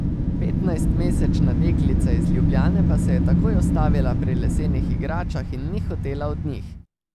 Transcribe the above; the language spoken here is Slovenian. Petnajstmesečna deklica iz Ljubljane pa se je takoj ustavila pri lesenih igračah in ni hotela od njih.